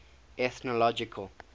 ethnological